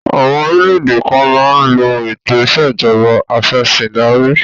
Àwọn orílẹ̀-èdè kan máa ń lo ètò ìṣẹ̀jọba afẹ̀sìndarí